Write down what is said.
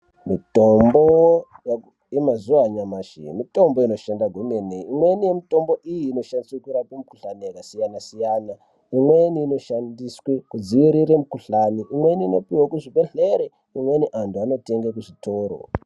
Mitombo yemazuwa anyamashi , mitombo inoshanda kwemene. Imweni mitombo iyi inoshandiswe kurape mukhuhlane yakasiyana- siyana . Imweni inoshandiswe kudzivirire mukhuhlane , imweni inopuwe kuzvibhedhlere .Imweni antu anotenge kuzvitoro